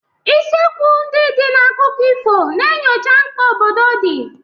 Isiokwu ndị dị na akụkọ ifo na-enyocha mkpa obodo dị.